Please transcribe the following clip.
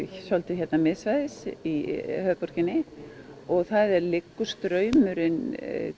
hérna miðsvæðis í höfuðborginni og það liggur straumurinn